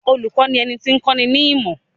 Olùkọ́ ni ẹni tí ń kọ́ni nímọ̀.